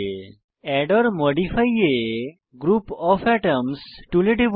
add or modify a group of atoms টুলে টিপুন